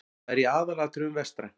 Það er í aðalatriðum vestrænt.